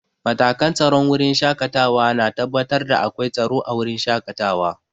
Matakan tsaron wurin shaƙatawa na tabbatar da akwai tsaro a wurin shaƙatawa.